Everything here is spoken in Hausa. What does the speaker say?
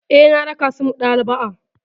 Eh, na raka su maɗaba'a.